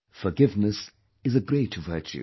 Forgiveness is a great virtue